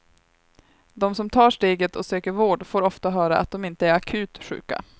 De som tar steget och söker vård får ofta höra att de inte är akut sjuka.